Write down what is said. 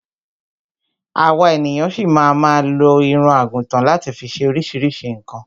Àwa ènìyan ṣi ma ma lo irun àgùtan láti fi ṣe oríṣiríṣi nǹkan